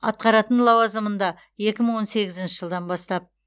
атқаратын лауазымында екі мың он сегізінші жылдан бастап